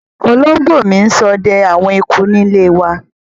Olóngbò mi n sode àwon eku níléwa